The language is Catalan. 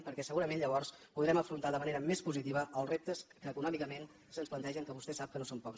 perquè segurament llavors podrem afrontar de manera més positiva els reptes que econòmicament se’ns plantegen que vostè sap que no són pocs